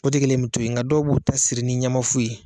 O tigɛlen bɛ tô yen, nka dɔw b'u ta siri ni ɲɛma fu ye.